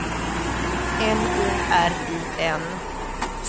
N O R I N